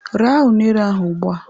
Raa unere ahụ ugbu a!